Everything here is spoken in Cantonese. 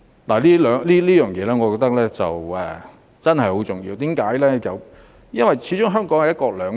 我認為這一點真的很重要，因為始終香港實行"一國兩制"。